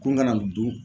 Kun ka na nin dun